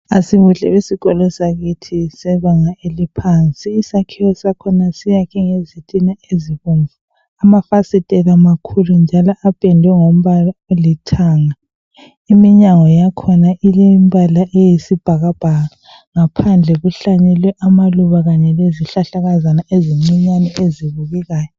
Asibuhle besikolo sakithi sebanga eliphansi. Isakhiwo sakhona siyakhwe ngezitina ezibomvu. Amafasitela makhulu njalo apendwe ngombala olithanga. Iminyango yakhona ilembala eyisibhakabhaka. Ngaphandle kuhlanyelwe amaluba kanye lezihlahlakazana ezincinyani ezibukekayo.